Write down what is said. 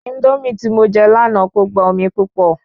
Índómì tí mo je lànà ko gba omi púpọ̀